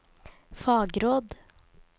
fagråd